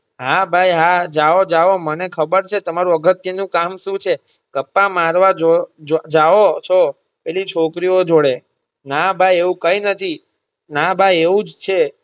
હા ભાઈ હા જાઓ જાઓ મને ખબર છે તમારૂ અગત્ય નું કામ શું છે ગપ્પાં મારવા જો જો જાઓ છો પેલી છોકરીઓ જોડે ના ભાઈ એવું કઈ નથી ના ભાઈ એવું જ છે.